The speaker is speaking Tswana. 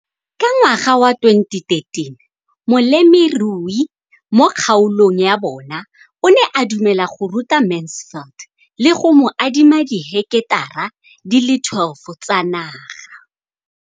Ka ngwaga wa 2013, molemirui mo kgaolong ya bona o ne a dumela go ruta Mansfield le go mo adima di heketara di le 12 tsa naga.